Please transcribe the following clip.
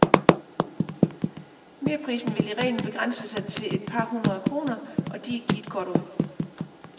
Merprisen vil i reglen begrænse sig til et par hundrede kroner, og de er givet godt ud.